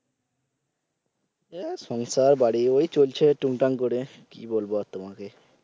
এ সংসার বাড়ি ওই চলছে টুংটাং করে কি বলবো আর তোমাকে